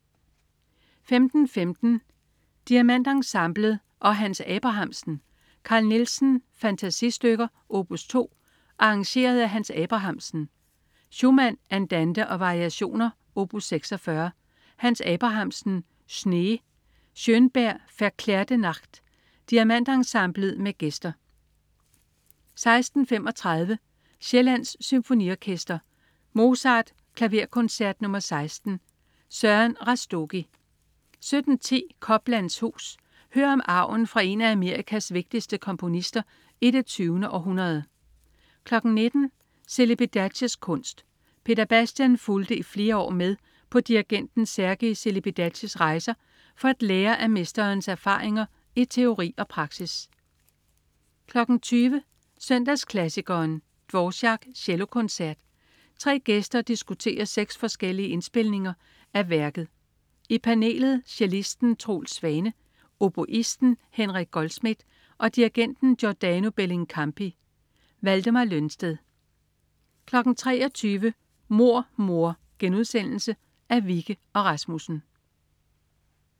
15.15 DiamantEnsemblet og Hans Abrahamsen. Carl Nielsen: Fantasistykker, op. 2, arr. Hans Abrahamsen. Schumann: Andante og variationer, op. 46. Hans Abrahamsen: Schnee. Schönberg: Verklärte Nacht. DiamantEnsemblet med gæster 16.35 Sjællands Symfoniorkester. Mozart: Klaverkoncert nr. 16. Søren Rastogi 17.10 Coplands hus. Hør om arven fra en af Amerikas vigtigste komponister i det 20. århundrede 19.00 Celibidaches kunst. Peter Bastian fulgte i flere år med på dirigenten Sergiu Celibidaches rejser for at lære af mesterens erfaringer i teori og praksis 20.00 Søndagsklassikeren. Dvorák: Cellokoncert. Tre gæster diskuterer seks forskellige indspilninger af værket. I panelet: cellisten Troels Svane, oboisten Henrik Goldschmidt og dirigenten Giordano Bellincampi. Valdemar Lønsted 23.00 Mord mor.* Af Wikke og Rasmussen